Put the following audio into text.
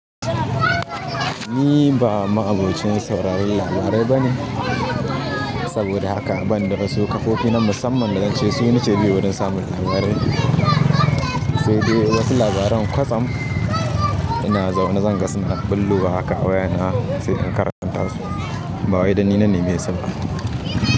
Ni ba ma'abocin sauraron labarai bane, saboda haka ban da wasu ƙafofi na musamman da zan ce su nake biyewa don samun labarai. Sai dai wasu labaran kwatsam ina zaune zan ga sun ɗan bullowa haka wayana sai in karanta su. Ba wai dan ni na neme su ba.